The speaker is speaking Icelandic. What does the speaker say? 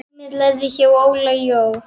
Heimir lærði hjá Óla Jó.